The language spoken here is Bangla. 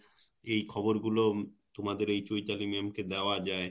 এই খবর গুলো তোমাদের এই চৈতালি ma'am কে দেওয়া যায়